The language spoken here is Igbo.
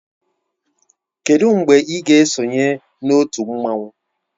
Kedu mgbe ị ga-esonye na otu mmanwu?